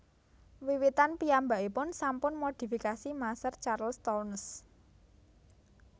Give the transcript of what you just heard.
Wiwitan piyambakipun sampun modifikasi maser Charles Townes